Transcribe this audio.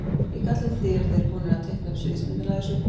Ég kalla eftir því, eru þeir búnir að teikna upp sviðsmyndina af þessu?